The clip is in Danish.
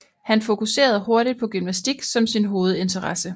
Han fokuserede hurtigt på gymnastik som sin hovedinteresse